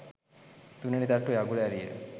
තුන්වෙනි තට්ටුවේ අගුල ඇරිය